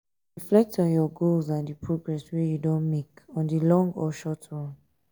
reflect on your goals and di progress wey you don make on di long or short run